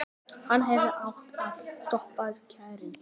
Hann hefði átt að stoppa strákinn.